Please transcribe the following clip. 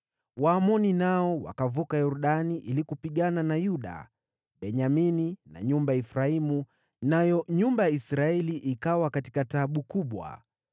Waamoni nao wakavuka Yordani ili kupigana na Yuda, Benyamini na nyumba ya Efraimu, nayo nyumba ya Israeli ikawa katika taabu kubwa.